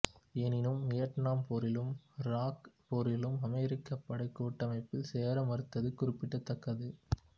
எனினும் வியட்நாம் போரிலும் இராக் போரிலும் அமெரிக்க படைக் கூட்டமைப்பில் சேர மறுத்தது குறிப்பிடத்தக்கது